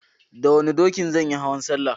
Da wanna dokin zanyi hauwan Sallah